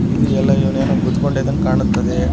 ಇದು ಎಲ್ಲ ಏನೆನೊ ಗುದ್ದಕೊಂಡ ಇದ್ದಂಗೆ ಕಾಣುತ್ತದೆ .